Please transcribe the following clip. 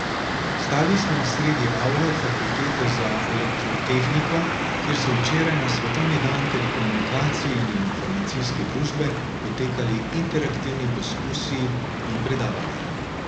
Stali smo sredi avle fakultete za elektrotehniko, kjer so včeraj, na svetovni dan telekomunikacij in informacijske družbe, potekali interaktivni poskusi in predavanja.